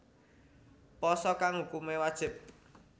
Pasa kang hukumé wajib